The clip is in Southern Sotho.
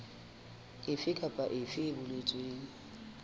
efe kapa efe e boletsweng